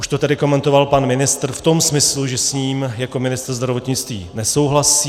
Už to tady komentoval pan ministr v tom smyslu, že s ním jako ministr zdravotnictví nesouhlasí.